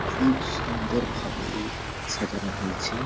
খুব সুন্দরভাবে-এ সাজানো হয়েছে ।